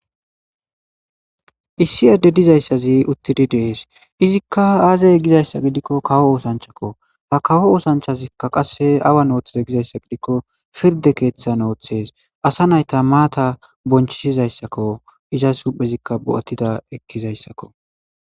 issi adde dizayssazi uttidi de'ees izikka aaze gizayssa gidikko kawo oosanchchakko ta kawo oosanchazikka qasse awan ooththiza gizayssa gidikko pirde keeththan ooththees asa naytta maata bonchisizayssakko iza huuphphezikka bo'attidda ekkizayssakko